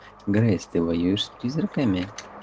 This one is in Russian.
грейс ты воюешь с призраками